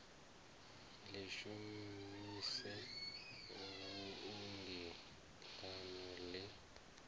ḽi shumise fhungoni ḽaṋu ḽe